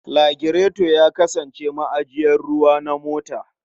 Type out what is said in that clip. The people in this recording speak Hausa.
Lagireto ya kasance ma'ajiyar ruwa na mota.